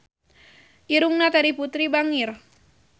Irungna Terry Putri bangir